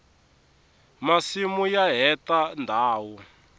masimu ya heta ndhawu